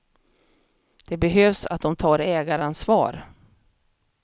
Det behövs att de tar ägaransvar.